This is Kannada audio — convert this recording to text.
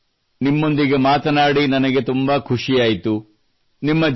ಮಯೂರ್ ನಿಮ್ಮೊಂದಿಗೆ ಮಾತನಾಡಿ ನನಗೆ ತುಂಬ ಖುಷಿಯಾಯಿತು